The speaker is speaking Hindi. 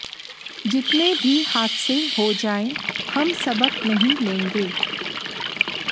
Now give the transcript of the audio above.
जितने भी हादसे हो जाएं हम सबक नहीं लेंगे